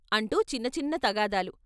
అంటూ చిన్నచిన్న తగాదాలు.